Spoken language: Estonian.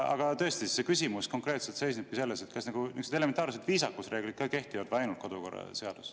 Aga tõesti, see küsimus konkreetselt seisnebki selles, kas niisugused elementaarsed viisakusreeglid siin ka kehtivad või kehtib ainult kodukorraseadus.